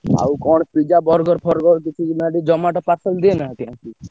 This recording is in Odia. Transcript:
ଆଉ କଣ pizza, burger ଫର୍ଗର୍ କିଛି Zomato parcel ଦିଏନା ଏଠି?